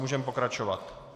Můžeme pokračovat.